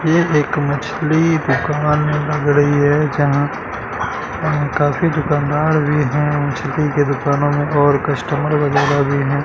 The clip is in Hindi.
ये एक मछली दुकान लग रही है जहाँ काफी दुकानदार भी है मछली की दुकानों में और कस्टमर वगैरा भी है।